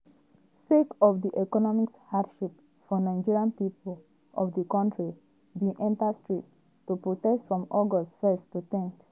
sake of di economic hardship for nigeria pipo of di kontri bin enta streets to protest from august 1 to 10.